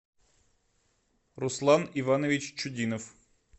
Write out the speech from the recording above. руслан иванович чудинов